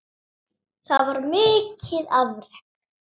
Það var mikið afrek.